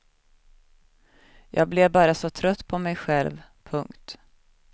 Jag blev bara så trött på mig själv. punkt